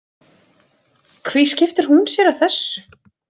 Hví skiptir hún sér af þessu?